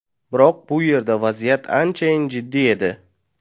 Biroq bu yerda vaziyat anchayin jiddiy edi.